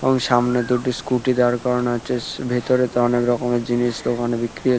এবং সামনে দুটি স্কুটি দাঁড় করানো আছে। সে ভেতরে তো অনেক রকমের জিনিস দোকানে বিক্রি হচ্ছ--